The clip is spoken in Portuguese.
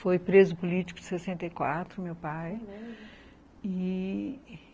Foi preso político em sessenta e quatro, meu pai.